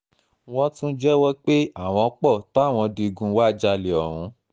wọ́n tún jẹ́wọ́ pé àwọn pọ̀ táwọn digun wàá jálẹ̀ ọ̀hún